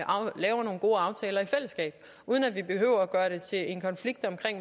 vi laver nogle gode aftaler i fællesskab uden at vi behøver at gøre det til en konflikt om